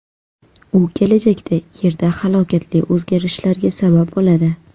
U kelajakda Yerda halokatli o‘zgarishlarga sabab bo‘ladi.